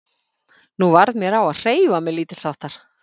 Nú varð mér á að hreyfa mig lítilsháttar.